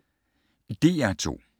DR2